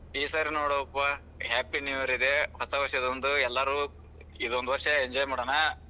ಈ ಸಾರೀ ನೋಡೊಪ್ಪಾ happy new year ಇದೆ ಹೊಸ ವಷ್೯ದೊಂದು ಎಲ್ಲಾರು ಇದೊಂದು ವಷ೯ enjoy ಮಾಡಣ.